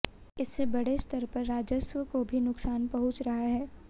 इससे बड़े स्तर पर राजस्व को भी नुकसान पहुँच रहा है